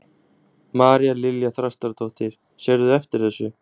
María Lilja Þrastardóttir: Sérðu eftir þessu?